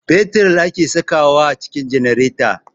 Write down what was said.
Fetir ake sakawa a cikin janareta